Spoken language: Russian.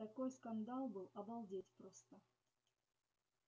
такой скандал был обалдеть просто